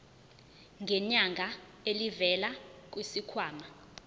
ngenyanga elivela kwisikhwama